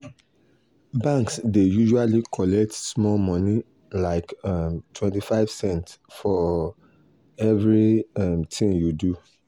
banks dey usually collect small money like um 25 cents for um every um tin you do